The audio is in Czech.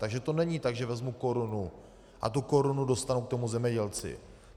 Takže to není tak, že vezmu korunu a tu korunu dostanu k tomu zemědělci.